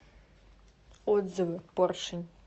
отзывы поршень